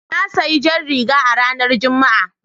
Na sayi jar riga a ranar Juma'a.